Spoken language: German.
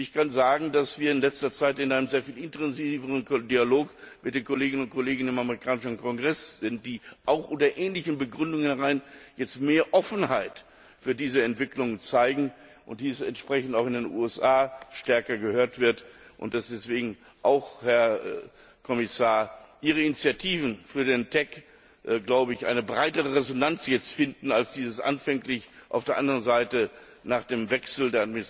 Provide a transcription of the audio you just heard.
Ich kann sagen, dass wir in letzter Zeit in einem sehr viel intensiveren Dialog mit den Kolleginnen und Kollegen im amerikanischen Kongress sind, die auch mit ähnlichen Begründungen jetzt mehr Offenheit für diese Entwicklung zeigen und dies auch entsprechend in den USA stärker gehört wird und dass deswegen, Herr Kommissar, Ihre Initiativen für den TEC jetzt eine breitere Resonanz finden, als dies anfänglich auf der anderen Seite nach dem Regierungswechsel